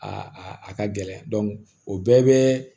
Aa a ka gɛlɛn o bɛɛ bɛ